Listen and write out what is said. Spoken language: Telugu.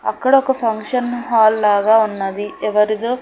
అక్కడొక ఫంక్షన్ హాల్ లాగా ఉన్నది ఎవరిదో--